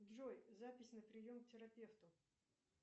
джой запись на прием к терапевту